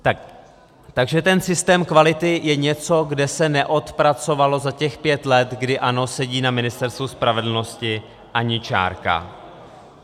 Takže ten systém kvality je něco, kde se neodpracovala z těch pět let, kdy ANO sedí na Ministerstvu spravedlnosti, ani čárka.